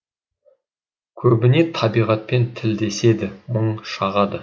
көбіне табиғатпен тілдеседі мұң шағады